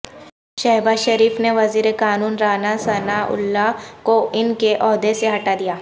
شہباز شریف نے وزیر قانون رانا ثنااللہ کو ان کے عہدے سے ہٹادیا